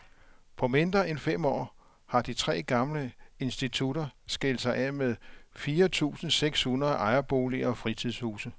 På mindre end fem år har de tre gamle institutter skilt sig af med fire tusinde seks hundrede ejerboliger og fritidshuse.